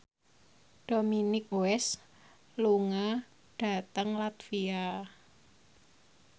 Dominic West lunga dhateng latvia